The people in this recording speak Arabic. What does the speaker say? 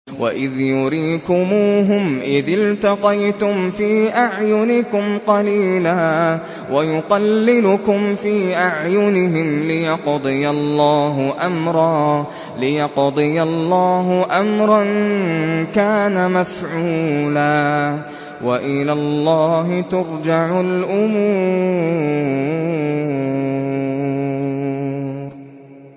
وَإِذْ يُرِيكُمُوهُمْ إِذِ الْتَقَيْتُمْ فِي أَعْيُنِكُمْ قَلِيلًا وَيُقَلِّلُكُمْ فِي أَعْيُنِهِمْ لِيَقْضِيَ اللَّهُ أَمْرًا كَانَ مَفْعُولًا ۗ وَإِلَى اللَّهِ تُرْجَعُ الْأُمُورُ